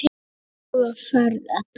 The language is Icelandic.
Góða ferð, Edda mín.